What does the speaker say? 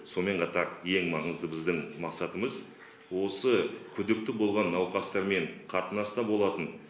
сонымен қатар ең маңызды біздің мақсатымыз осы күдікті болған науқастармен қатынаста болатын